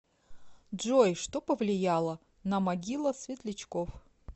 джой что повлияло на могила светлячков